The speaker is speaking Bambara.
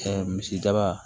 Ɛɛ misidaba